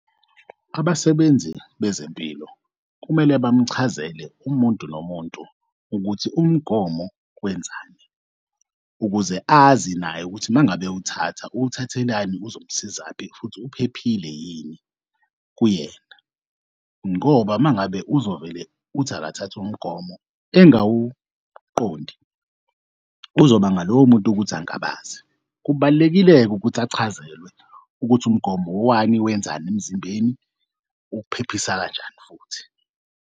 Abasebenzi bezempilo kumele bamchazele umuntu nomuntu ukuthi umgomo wenzani, ukuze azi naye ukuthi umangabe uwuthatha uwuthathelani uzomsizaphi futhi uphephile yini kuyena, ngoba uma ngabe uzovele uthi akathath'umgomo engawuqondi kuzobanga lowo muntu ukuthi angabaze. Kubalulekile-ke ukuthi achazelwe ukuthi umgomo wani wenzani emzimbeni ukuphephisa kanjani futhi.